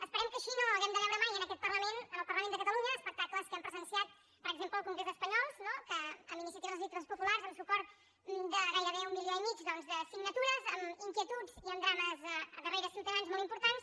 esperem que així no hàgim de veure mai en aquest parlament en el parlament de catalunya espectacles que hem presenciat per exemple al congrés espanyol que amb iniciatives legislatives populars amb suport de gairebé un milió i mig de signatures amb inquietuds i amb drames darrere ciutadans molt importants